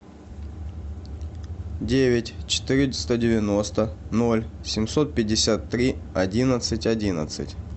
девять четыреста девяносто ноль семьсот пятьдесят три одиннадцать одиннадцать